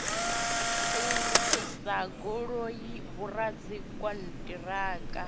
u lugisa goloi vhoradzikhon ṱiraka